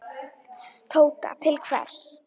Tóta: Til hvers?